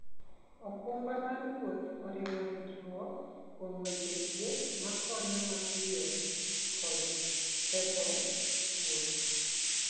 okumba mar wuoth oriwo ritruok kuom weche thieth makonyo mapiyo kod ketho wuoth.